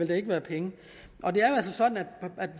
vil være penge